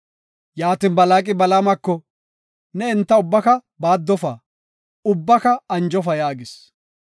Yaatin, Balaaqi Balaamako, “Ne enta ubbaka baaddofa; ubbaka anjofa” yaagis.